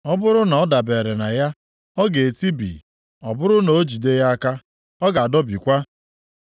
Ọ bụrụ na ọ dabere na ya, ọ ga-etibi; ọ bụrụ na o jide ya aka, ọ ga-adọbikwa.